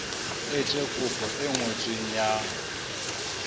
etse kopo e ngotsweng ya